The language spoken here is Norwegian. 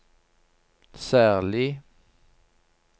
særlig